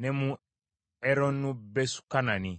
ne mu Eroni Besukanani;